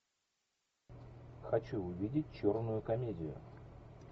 хочу увидеть черную комедию